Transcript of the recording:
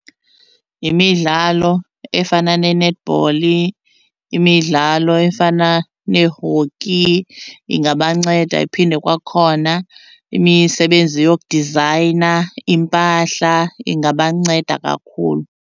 Yimidlalo efana ne-netball, imidlalo efana nee-hockey ingabanceda. Iphinde kwakhona imisebenzi yokudizayina iimpahla, ingabanceda kakhulu.